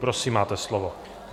Prosím, máte slovo.